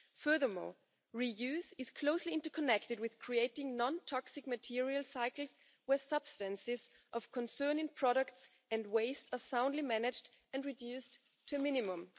Furthermore, reuse is closely interconnected with creating non toxic material cycles where substances of concerning products and waste are soundly managed and reduced to a minimum.